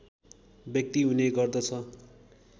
व्यक्ति हुने गर्दछ